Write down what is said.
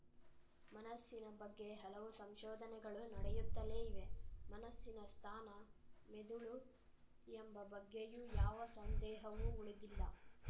ಮನಸ್ಸಿನ ಬಗ್ಗೆ ಹಲವು ಸಂಶೋಧನೆಗಳು ನಡೆಯುತ್ತಲೇ ಇವೆ ಮನಸ್ಸಿನ ಸ್ಥಾನ ಮಿದುಳು ಎಂಬ ಬಗ್ಗೆಯೂ ಯಾವ ಸಂದೇಹವೂ ಉಳಿದಿಲ್ಲ